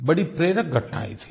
बड़ी प्रेरक घटनायें थीं